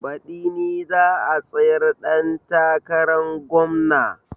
Baɗi ni za a tsayar ɗan takarar gomna